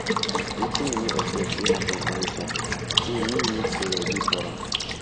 wetin we no expect fit happen any time so me need to ready for am ready for am